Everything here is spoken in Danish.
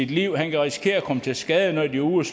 liv eller risikere at komme til skade når de er ude